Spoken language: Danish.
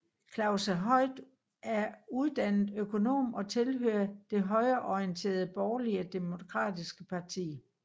Klaus er uddannet økonom og tilhører det højreorienterede Borgerlige Demokratiske Parti